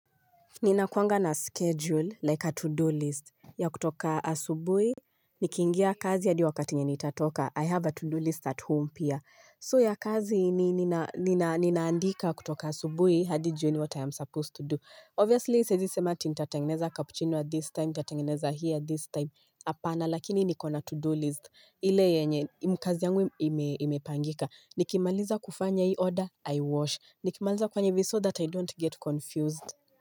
Ninakuanga na schedule like a to-do list ya kutoka asubuhi Nikiingia kazi hadi wakati yenye nitatoka. I have a to-do list at home pia, so ya kazi ni ninaandika kutoka asubui hadi jioni what I am supposed to do. Obviously siezi sema eti nitatengeneza capucchino at this time, nitatengeneza here this time, apana lakini niko na to-do list. Ile yenye kazi yangu imepangika Nikimaliza kufanya hii order i wash, Nikimaliza kufanya hivi so that I don't get confused.